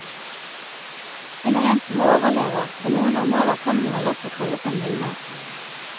Hun er en som overlever, på noen områder kan hun vel også kalles en vinner.